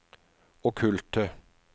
okkulte